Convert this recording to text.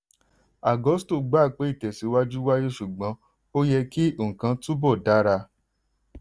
agusto gbà pé ìtẹ̀síwájú wáyé ṣùgbọ́n ó yẹ kí nǹkan túbọ̀ dara.